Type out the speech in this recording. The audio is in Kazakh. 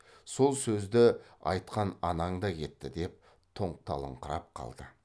сол сөзді айтқан анаң да кетті деп тоңталыңқырап қалды